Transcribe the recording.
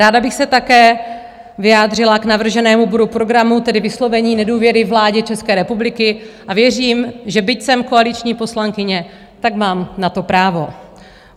Ráda bych se také vyjádřila k navrženému bodu programu, tedy vyslovení nedůvěry vládě České republiky, a věřím, že byť jsem koaliční poslankyně, tak mám na to právo.